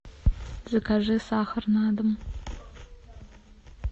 закажи сахар на дом